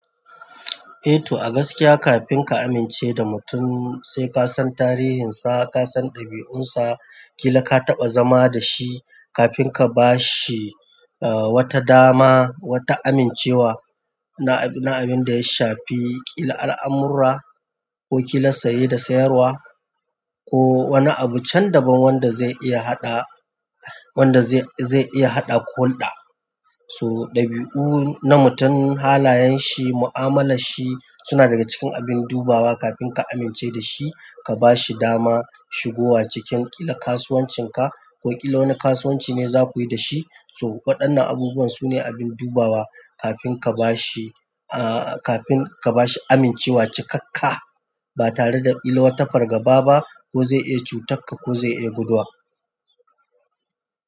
Eh to, a gaskiya kafin ka amince da mutum, sai ka san tarihinsa, ka san ɗabi'unsa, ki la ka taɓa zama da shi kafin ka ba shi, eh, wata dama, wata amincewa na, na abin da ya shafi ƙila al'amurra ko ƙi la saye da sayarwa ko wani abu can daban wanda zai iya haɗa, wanda zai, zai iya haɗa ku hulɗa. So ɗabi'u na mutum, halayen shi, mu'amalar shi suna daga cikin abin dubawa kafin ka amince da shi, ka ba shi dama shigowa cikin ƙila kasuwancinka ko ƙila wani kasuwanci ne za ku yi da shi. So waɗannan abubuwan su ne abin dubawa kafin ka ba shi, eh, kafin ka ba shi amincewa cikakka ba tare da ƙila wata fargaba ba ko zai iya cutakka ko zai iya guduwa.